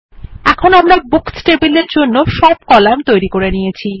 এখন আমরা সব বুকস টেবিলের জন্য সব কলাম তৈরি করে নিয়েছি